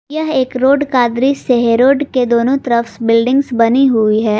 यह एक रोड का दृश्य है रोड के दोनों तरफ बिल्डिंग्स बनी हुई है।